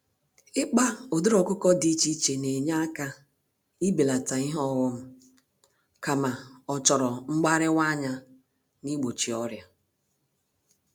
Ịkpa ụdịrị ọkụkọ dị iche iche nenye àkà ibelata ihe ọghom, kama ochoro mgbáríwa-anya nigbochi ọrịa.